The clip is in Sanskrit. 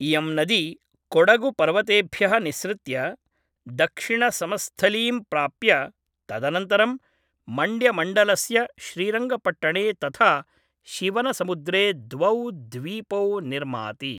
इयं नदी कॊडगुपर्वतेभ्यः निस्सृत्य दक्षिणसमस्थलीं प्राप्य तदनन्तरं मण्ड्यमण्डलस्य श्रीरङ्गपट्टणे तथा शिवनसमुद्रे द्वौ द्वीपौ निर्माति।